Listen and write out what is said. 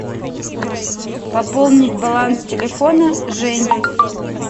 пополнить баланс телефона жени